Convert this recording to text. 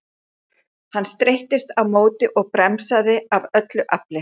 Hann streittist á móti og bremsaði af öllu afli.